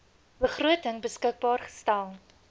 begroting beskikbaar gestel